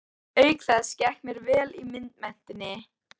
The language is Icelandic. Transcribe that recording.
Auk þess gekk mér vel í myndmenntinni.